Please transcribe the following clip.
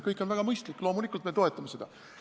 Kõik on väga mõistlik, loomulikult me toetame seda.